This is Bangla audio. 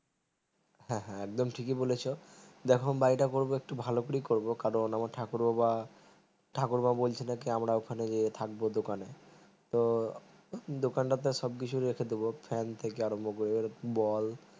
হ্যাঁ হ্যাঁ এক দম ঠিকি বলেছো দেখো বাড়িটা করবো একটু ভালো করে করবো কারণ আমার ঠাকুর বাবা ঠাকুর বাবা বলছিল কি আমরা এখন গিয়ে থাকবো দোকানে তো দোকান তাতে সবকিছু রেখে দেব fan থেকে আরাম্ব করে বল